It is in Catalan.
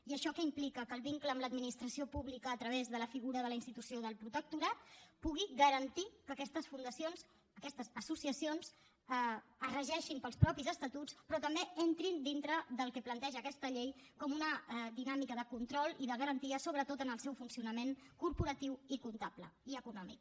i això què implica que el vincle amb l’administració pública a través de la figura de la institució del protectorat pugui garantir que aquestes fundacions aquestes associacions es regeixin pels propis estatuts però també entrin dintre del que planteja aquesta llei com una dinàmica de control i de garantia sobretot en el seu funcionament corporatiu i comptable i econòmic